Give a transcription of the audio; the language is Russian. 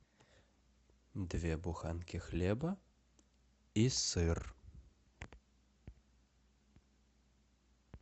две буханки хлеба и сыр